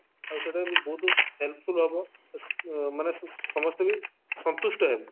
ଆଉ ସେଇଟା ବି ବହୁତ helpful ହବ ମାନେ ସ ସମସ୍ତେ ବି ସନ୍ତୁଷ୍ଟ ହେବେ